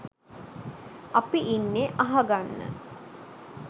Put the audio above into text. අපි ඉන්නෙ අහ ගන්න